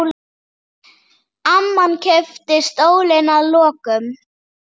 Amman keypti stólinn að lokum.